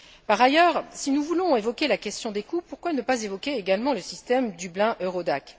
Par ailleurs, si nous voulons évoquer la question des coûts, pourquoi ne pas évoquer également le système Dublin Eurodac?